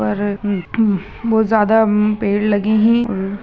यहाँ पर में बहुत ज्यादा अम पेड़ लगे है। उम--